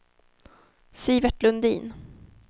Sivert Lundin